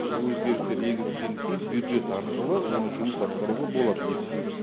өзгерістер енгізген кейін бюджет арқылы оны жұмыс атқаруға болады лифтті